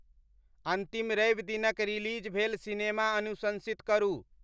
अंतिम रवि दिनक रिलीज़ भेल सिनेमा अनुशंसित करू